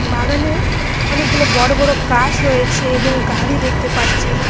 বাগানে অনেকগুলো বড়ো বড়ো গাছ রয়েছে এবং গাড়ি দেখতে পাচ্ছি।